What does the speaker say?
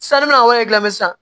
Sanni mana kɛ lamɛ sisan